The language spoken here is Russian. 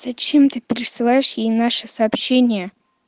зачем ты присылаешь ей наши сообщения